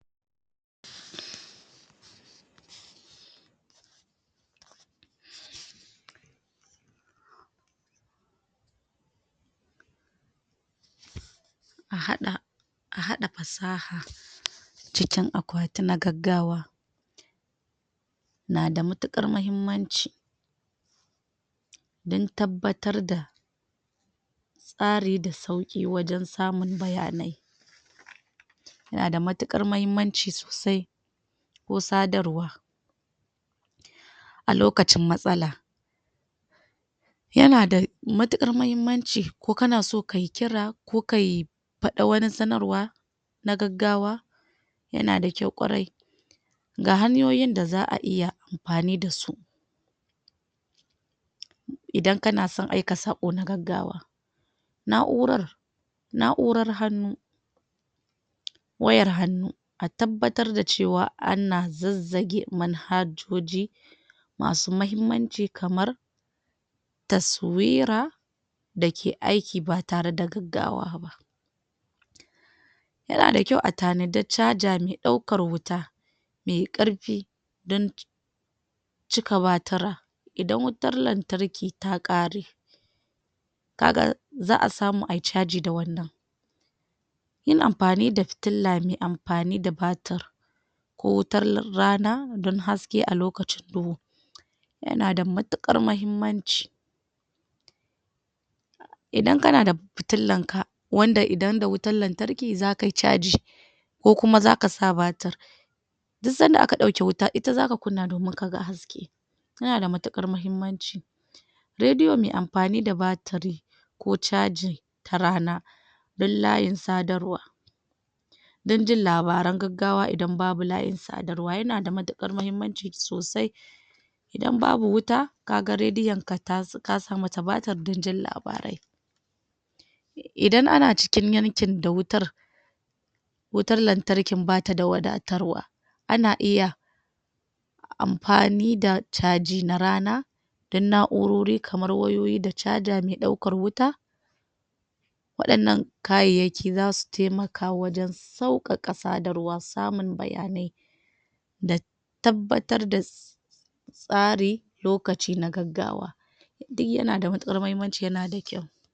a haɗa a haɗa fasaha cikin a ƙwati na gaggawa na da mutuƙar mahimmanci dan tabbatar da tsari da sauƙi wajan samun bayanai nada matuƙar mahimmanci sosai ko sadarwa a lokacin matsala ya na da matuƙar mahimmanci ko kanaso kayi kira ko kai faɗi wani sanarwa na gaggawa yana da kyau ƙwarai ga hanyoyin da za'a iya amfani dasu idan kansan aika saƙo na gaggawa na'urar na'urar hannu wayar hannu a tabbatar da cewa ana zazzage manhajjoji masu mahimmance kamar taswira dake aiki ba tare da gaggawa ba yana da kyau a tanadi caza me ɗaukar wuta me karfe dan cika batira idan wutar lantarki ta ƙare kaga za a samu ayi caji d wannan yin amfani da fitila me amfani da batir ko wutar rana dan haske a lokacin duhu yana da matukar mahimmanci idan kana da fitilan ka wanda idan da wutar lantarki zakai caji ko kuma zaka sa batir duk sanda aka ɗauke wuta ita zaka kunna domin kaga haske tana da matuƙar mahimmanci raidiyo me amfani da batiri ko caji ta rana dan layin sadarwa dan jin labaran gaggawa idan babu layin sadarwa yana da matuƙar mahimmanci sosai idan babu wuta kaga raidi yanka kasa mata batir dan jin labarai idan ana cikin yankin da wutar wutar lantarkin bata da wadatarwa ana iya amfani da caji na rana dan na'urori kamar wayoyi da caza me ɗaukar wuta waɗannan kayayyaki zasu taimaka wajan sauƙaƙa sadarwa samun bayanai da tabbatar da tsari lokaci na gaggawa duk yana da matuƙar mahimmanci yana da kyau